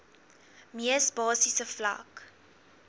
mees basiese vlak